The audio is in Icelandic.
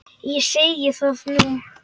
Ég segi það nú!